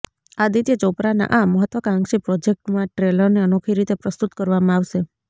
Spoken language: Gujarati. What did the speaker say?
આદિત્ય ચોપરાના આ મહત્ત્વાકાંક્ષી પ્રોજેક્ટમાં ટ્રેલરને અનોખી રીતે પ્રસ્તુત કરવામાં આવશે